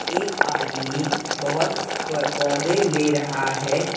एक आदमी बहोत स प पौधे ले रहा है।